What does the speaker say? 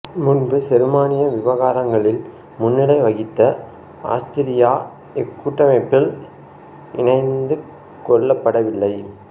முன்பு செருமானிய விவகாரங்களில் முன்னிலை வகித்த ஆஸ்திரியா இக்கூட்டமைப்பில் இணைத்துக் கொள்ளப்படவில்லை